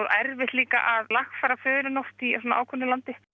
erfitt að lagfæra förin oft í ákveðnu landi